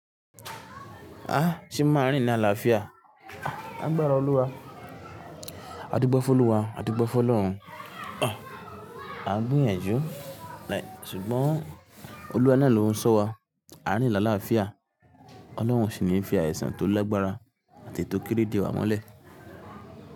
Ah! Ṣé ma rí nílàáfíà? A gbára Olúwa. A dúgbọ́ fún Olúwa, a dúgbọ́ fún Ọlọ́run. A ń gbìyànjú. Ṣùgbọ́n Olúwa náà ló ń ṣọ́ wa. A rí nílàáfíà. Ọlọ́run o sì ní fi àìsàn tó lagbára àti eyi tó kéré dé wa mọ́lẹ̀.